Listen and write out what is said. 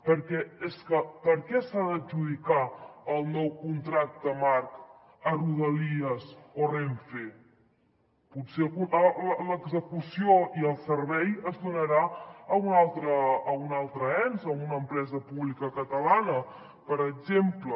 perquè és que per què s’ha d’adjudicar el nou contracte marc a rodalies o renfe potser l’execució i el servei es donaran a un altre ens a una empresa pública catalana per exemple